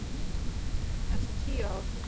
Eftir tíu ár.